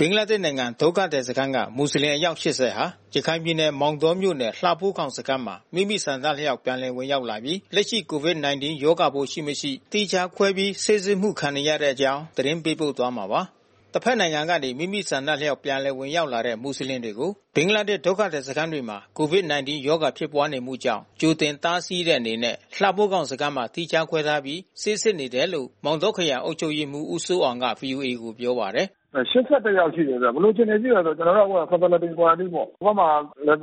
ဘင်္ဂလားဒေ့ရ်ှနိုင်ငံ ဒုက္ခသည်စခန်းက မူဆလင်အယောက် ၈၀ ဟာ ရခိုင်ပြည်နယ် မောင်တောမြို့နယ် လှဖိုးခေါင် စခန်းမှာ မိမိဆန္ဒအလျောက် ပြန်လည်ဝင်ရောက်လာပြီး လက်ရှိ COVID-19 ရောဂါပိုးရှိ၊ မရှိ သီးခြားခွဲပြီး ဆေးစစ်မှု ခံနေရတဲ့ အကြောင်းသတင်းပေးပို့သွားမှာပါ။ တဘက်နိုင်ငံကနေ မိမိဆန္ဒအလျောက် ပြန်လည်ဝင်ရောက်လာတဲ့ မူဆလင်တွေကို ဘင်္ဂလားဒေ့ရ်ှ ဒုက္ခသည်စခန်းတွေမှာ COVID-19 ရောဂါဖြစ်ပွါးနေမှုကြောင့် ကြိုတင်တားဆီးတဲ့အနေနဲ့ လှဖိုးခေါင်စခန်းမှာ သီးခြားခွဲထားပြီး ဆေးစစ်နေတယ်လို့ မောင်တောခရိုင်အုပ်ချုပ်ရေးမှူး ဦးစိုးအောင်က ဗွီအိုအေကို ပြောပါတယ်။ “အဲ ၈၁ ယောက်ရှိတယ်ခင်ဗျ။ ဘယ်လိုအခြေအနေ ရှိတယ်တော့ ကျနော်တို့ အခုဟာ Facility Quarantine ပေါ့။ ဟိုဘက်မှာ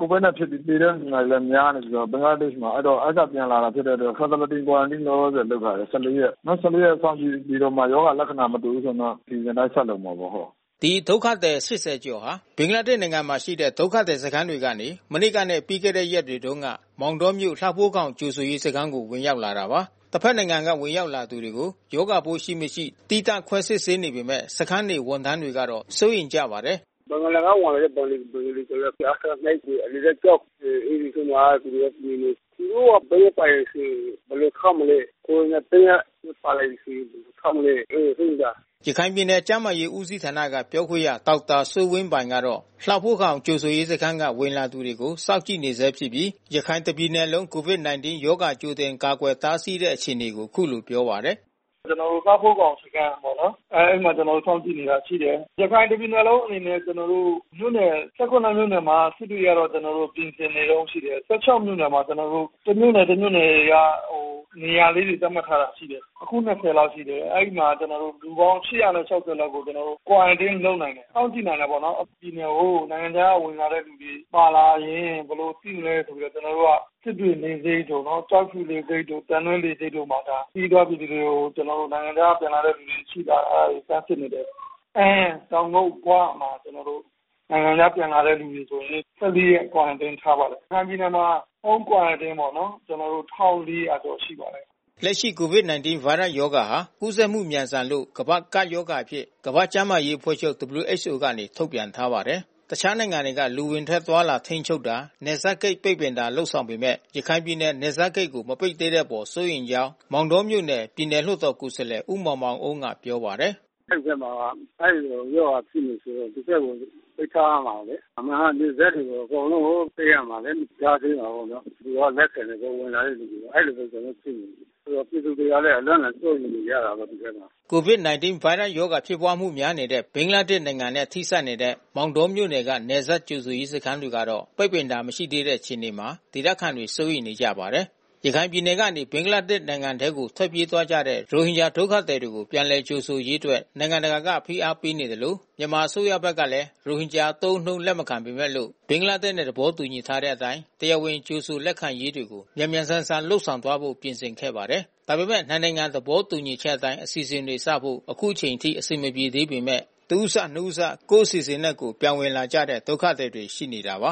COVID ဖြစ်ပြီး သေတဲ့လူနာတွေလည်း များနေပြီးတော့ ဘင်္ဂလားဒေ့ရ်ှမှာ။ အဲဒီကပြန်လာတာဖြစ်တဲ့အတွက် Facility Quarantine လောလောဆယ် လုပ်ထားတယ် ၁၄ ရက်။ နောက် ၁၄ ရက်စောင့်ကြည့်ပြီးတော့မှ ရောဂါလက္ခဏာ မတွေ့ဘူးဆိုရင်တော့ အစီစဉ်အတိုင်း ဆက်လုပ်မှာပေါ့။” ဒီဒုက္ခသည် ၈၀ ကျော်ဟာ ဘင်္ဂလားဒေ့ရ်ှနိုင်ငံမှာရှိတဲ့ ဒုက္ခသည်စခန်းတွေထဲကနေ မနေ့ကနဲ့ ပြီးခဲ့တဲ့ရက်တွေတုန်းက မောင်တောမြို့ လှဖိုးခေါင်ကြိုဆိုရေးစခန်းကို ဝင်ရောက်လာတာပါ။ တဘက်နိုင်ငံက ဝင်ရောက်လာသူတွေကို ရောဂါပိုးရှိ၊ မရှိ သီးသန့်ခွဲစစ်ဆေးနေပေမဲ့ စခန်းနေ ဝန်ထမ်းတွေကတော့ စိုးရိမ်ကြပါတယ်။ “ဘင်္ဂလားက ဝင်လာတဲ့ ဘင်္ဂလီတွေဆို အထက တွေ အလယ်တန်းကျောင်းတွေမှာသူတို့နေနေ။ သူတို့မှာ ဗိုင်းရပ်စ်ပါတယ်ဆိုရင် ဘယ်လိုထားမလဲ။ ကိုရိုနာဗိုင်းရပ်စ် ပါလာမယ်ဆိုရင် ဘယ်လိုထားမလဲ အဲတာ စိုးရိမ်တာ။” ရခိုင်ပြည်နယ် ကျန်းမာရေးဦးစီးဌာနက ပြောခွင့်ရဒေါက်တာစိုးဝင်းပိုင်ကတော့ လှဖိုးခေါင်ကြိုဆိုရေးစခန်းက ဝင်လာသူတွေကို စောင့်ကြည့်နေဆဲဖြစ်ပြီး ရခိုင်တပြည်နယ်လုံး COVID-19 ရောဂါကြိုတင်ကာကွယ်တားဆီးနေတဲ့ အခြေအနေကို အခုလိုပြောပါတယ်။ “ကျနော်တို့ လှဖိုးခေါင်စခန်းကပေါ့နော်။ အဲဒီမှာ ကျနော်တို့ စောင့်ကြည့်နေတာ ရှိတယ်။ ရခိုင်တပြည်နယ်လုံးအနေနဲ့ မြို့နယ် ၁၇ မြို့နယ်မှာ စစ်တွေကတော့ ကျနော်တို့ ပြင်ဆင်နေတုန်းရှိတယ်။ ၁၆ မြို့နယ်မှာ ကျနော်တိုပ တမြို့နယ် တမြို့နယ်က ကျနော်တို့ နေရာသတ်မှတ်ထားတာ ရှိတယ်။ အခု ၂၀ လောက်ရှိတယ်။ အဲဒီမှာ လူပေါင်း ၈၆၀ လောက်ကိုကျနော်တို့ Quarantine လုပ်နိုင်တယ်။ စောင့်ကြည့်နိုင်တာပေါ့နော်။ ပြည်နယ်ကို နိုင်ငံခြားကဝင်လာတဲ့ လူတွေပါလာရင် ဘယ်လိုစောင့်ကြည့်မလဲ စစ်တွေလေဆိပ်တို့ ကျောက်ဖြူလေဆိပ်တို့ သံတွဲလေဆိပ်တို့မှာ ခရီးသွားပြည်သူတွေကို ကျနော်တို့ နိုင်ငံခြားကပြန်လာတဲ့ လူတွေရှိလား။ အဲတာတွေ စမ်းစစ်နေတယ်။ အမ်း၊ တောင်ကုတ်၊ ဂွမှာ ကျနော်တို့ နိုင်ငံခြားကပြန်လာတဲ့လူဆိုရင် ၁၄ ရက် Quarantine ထားပါတယ်။ ရခိုင်ပြည်နယ်မှာ Home Quarantine ပေါ့နော်... ၁,၄၀၀ ကျော်ရှိပါတယ်။” လက်ရှိ COVID-19 ဗိုင်းရပ်စ်ရောဂါဟာ ကူးစက်မှု မြန်ဆန်လို့ ကမ္ဘာ့ကပ်ရောဂါအဖြစ် ကမ္ဘာ့ကျန်းမာရေးအဖွဲ့ချုပ် WHO က ထုတ်ပြန်ထားပါတယ်။ တခြားနိုင်ငံတွေက လူအဝင်ထွက်အသွားအလာ ထိန်းချုပ်တာ နယ်စပ်ဂိတ်ပိတ်ပင်တာ လုပ်ဆောင်နေပေမဲ့ ရခိုင်ပြည်နယ် နယ်စပ်ဂိတ်ကို မပိတ်သေးတဲ့အပေါ် စိုးရိမ်ကြောင်း မောင်တောမြို့နယ် ပြည်နယ်လွှတ်တော်ကိုယ်စားလှယ် ဦးမောင်မောင်အုန်းက ပြောပါတယ်။ “အဲဒီဘက်မှာ အဲဒီရောဂါဖြစ်နေတယ်ဆိုတော့ ဒီဘက်ကို ပိတ်ထားရမှာလေ။ အမှန်ကနယ်စပ်ကို အကုန်လုံး ပိတ်ရမှာလေ။ ကြားထဲမှာ သူက လက်ခံတယ်။ ဝင်လာတဲ့လူတွေကို အဲတာပဲ ကျနော်တို့ စိုးရိမ်တာ။ ပြည်သူတွေကလည်း အလွန့်အလွန် စိုးရိမ်နေကြတာပေါ့ ဒီဘက်မှာ။” COVID-19 ဗိုင်းရပ်စ်ရောဂါဖြစ်ပွါးမှု များနေတဲ့ ဘင်္ဂလားဒေ့ရ်ှနိုင်ငံနဲ့ ထိစပ်နေတဲ့ မောင်တောမြို့နယ်က နယ်စပ်ကြိုဆိုရေး စခန်းတွေကတော့ ပိတ်ပင်တာ မရှိသေးတဲ့ အခြေအနေမှာ ဒေသခံတွေ စိုးရိမ်နေကြပါတယ်။ ရခိုင်ပြည်နယ်ကနေ ဘင်္ဂလားဒေ့ရ်ှနိုင်ငံထဲ ထွက်ပြေးသွားကြတဲ့ ရိုဟင်ဂျာ ဒုက္ခသည်တွေကို ပြန်လည်လက်ခံရေးအတွက် နိုင်ငံတကာက ဖိအားပေးသလို၊ မြန်မာအစိုးရဘက်ကလည်း ရိုဟင်ဂျာအသုံးအနှုန်း လက်မခံပေမဲ့လို့ ဘင်္ဂလားဒေ့ရ်ှနဲ့ သဘောတူထားတဲ့အတိုင်း တရားဝင် ကြိုဆိုလက်ခံရေးတွေကို မြန်မြန်ဆန်ဆန်လုပ်သွားဖို့ ပြင်ဆင်ခဲ့ပါတယ်။ ဒါပေမဲ့ နှစ်နိုင်ငံ သဘောတူညီချက်အတိုင်း အစီအစဉ်တွေစဖို့ အခုအချိန်အထိ အဆင်မပြေသေးပေမဲ့လို့၊ တဦးစ၊ နှစ်ဦးစ ကိုယ့်အစီအစဉ်နဲ့ ကိုယ် ပြန်ဝင်လာကြတဲ့ ဒုက္ခသည်တွေ ရှိနေတာပါ